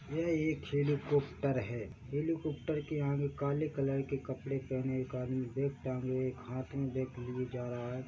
यह एक helicopter है हेलीकोपटेर के आगे काले कलर के कपड़े पहने एक आदमी बेग टाँगे हाथ मे लिए जा रहा है